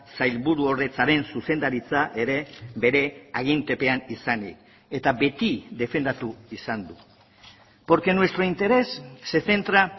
sailburuordetzaren zuzendaritza ere bere agintepean izanik eta beti defendatu izan du porque nuestro interés se centra